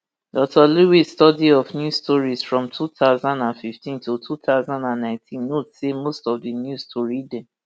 dr lewis study of news stories from two thousand and fifteen to two thousand and nineteen note say most of di news tori dem